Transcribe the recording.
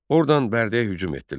Ordan Bərdəyə hücum etdilər.